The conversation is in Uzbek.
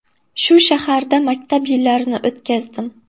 Shu shaharda maktab yillarini o‘tkazdim.